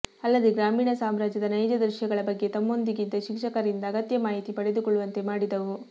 ಅಲ್ಲದೇ ಗ್ರಾಮೀಣ ಸಾಮ್ರಾಜ್ಯದ ನೈಜ ದೃಶ್ಯಗಳ ಬಗ್ಗೆ ತಮ್ಮೊಂದಿಗಿದ್ದ ಶಿಕ್ಷಕರಿಂದ ಅಗತ್ಯ ಮಾಹಿತಿ ಪಡೆದುಕೊಳ್ಳುವಂತೆ ಮಾಡಿದವು